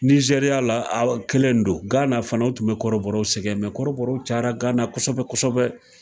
Nizeriya la a kelen don gana fana o tun be kɔrɔbɔrɔw sɛgɛn mɛ kɔrɔbɔrɔw cayara gana kosɛbɛ kosɛbɛ